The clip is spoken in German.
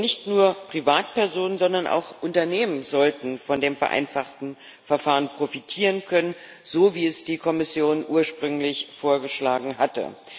Denn nicht nur Privatpersonen, sondern auch Unternehmen sollten von dem vereinfachten Verfahren profitieren können, so, wie es die Kommission ursprünglich vorgeschlagen hatte.